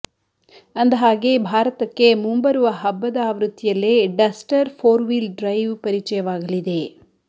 ಅಂದ ಹಾಗೆ ಭಾರತಕ್ಕೆ ಮುಂಬರುವ ಹಬ್ಬದ ಆವೃತ್ತಿಯಲ್ಲೇ ಡಸ್ಟರ್ ಫೋರ್ ವೀಲ್ ಡ್ರೈವ್ ಪರಿಚಯವಾಗಲಿದೆ